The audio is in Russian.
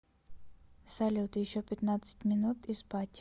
салют еще пятнадцать минут и спать